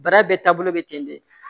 Bara bɛɛ taabolo be ten de